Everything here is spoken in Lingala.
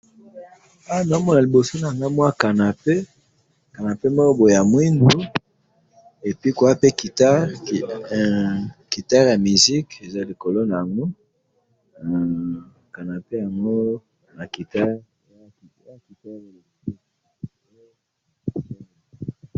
Na moni cannape ya moindo ya kitoko na guitare likolo na yango.